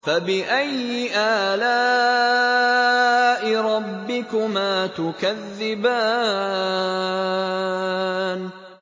فَبِأَيِّ آلَاءِ رَبِّكُمَا تُكَذِّبَانِ